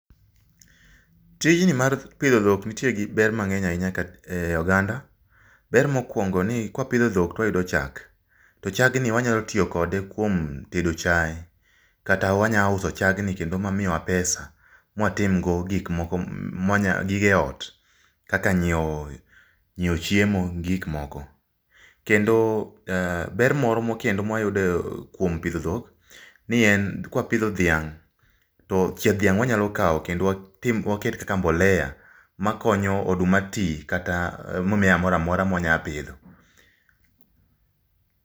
Tijni mar pidho dhok nitie gi ber mang'eny ahinya e oganda. Ber mokwongo ni kwapidho dhok twayudo chak to chagni wanyalo tiyo kode kuom tedo chaye kata wanya uso chagni kendo mamiyowa pesa mwatim go gik moko ,gige ot, kaka nyiewo chiemo gi gik moko. Kendo ber moro kendo mwayudo kuom pidho dhok, kwapidho dhiang' to chieth dhiang' wanyalo kawo kendo waket kaka mbolea makonyo oduma ti kata mimea mora mora mwanya pidho.